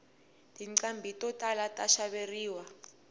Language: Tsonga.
tinqhambi to tala ta xaveriwa